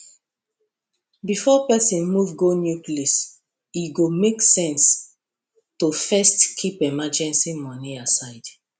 before person move go new place e go make sense to first keep emergency money aside